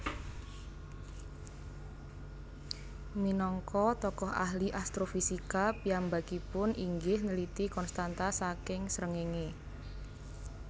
Minangka tokoh ahli astrofisika piyambakipun inggih nliti konstanta saking srengenge